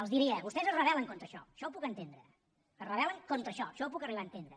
els diria vostès es rebelcontra això això ho puc entendre es rebelaixò això ho puc arribar a entendre